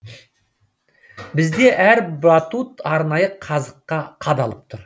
бізде әр батут арнайы қазыққа қадалып тұр